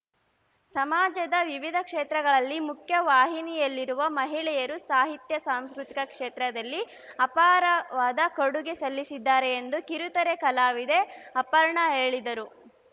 ಸಮಾಜದ ವಿವಿಧ ಕ್ಷೇತ್ರಗಳಲ್ಲಿ ಮುಖ್ಯವಾಹಿನಿಯಲ್ಲಿರುವ ಮಹಿಳೆಯರು ಸಾಹಿತ್ಯ ಸಾಂಸ್ಕೃತಿಕ ಕ್ಷೇತ್ರದಲ್ಲಿ ಅಪಾರವಾದ ಕೊಡುಗೆ ಸಲ್ಲಿಸಿದ್ದಾರೆ ಎಂದು ಕಿರುತೆರೆ ಕಲಾವಿದೆ ಅಪರ್ಣಾ ಹೇಳಿದರು